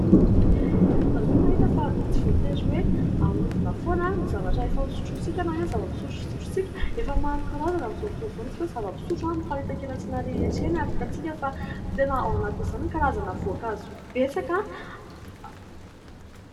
Ianareo va mahita fa tsy voatery hoe ahodina foana ny zavatra efa nosotrotsika na ny zava-pisotro fisotrotsika, efa maro karazana amin'izao fotoana izao ny zava-pisotro miparitaka eny an-tsena rehetra eny ary hitatsika fa tena ao anatin'izany karazana voankazo betsaka.